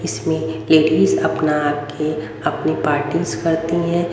इसमें लेडीज अपना आके अपनी पार्टीस करती हैं।